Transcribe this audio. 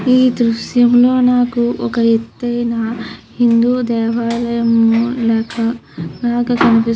ఈ దృశ్యంలో నాకు ఒక ఎత్తైన హిందూ దేవాలయం లేక లాగా కనిపిస్తూ --